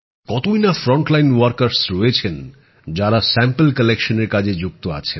কতই না সামনের সারির কর্মী আছেন যাঁরা নমুনা সংগ্রহের কাজে যুক্ত আছেন